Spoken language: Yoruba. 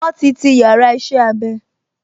Wọ́n ti ti yàrá iṣẹ́-abẹ